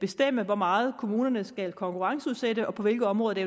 bestemme hvor meget kommunerne skal konkurrenceudsætte og på hvilke områder det